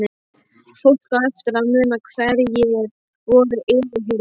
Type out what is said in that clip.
Fólk á eftir að muna hverjir voru yfirheyrðir.